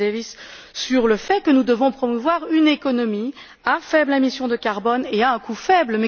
Chris Davies sur le fait que nous devons promouvoir une économie à faibles émissions de CO 2 et à un coût faible.